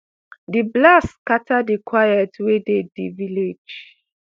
di blast scatter di quiet wey dey di village